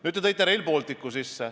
Nüüd, te tõite sisse Rail Balticu.